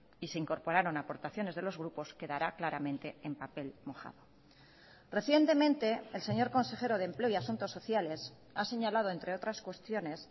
y se incorporaron aportaciones de los grupos quedará claramente en papel mojado recientemente el señor consejero de empleo y asuntos sociales ha señalado entre otras cuestiones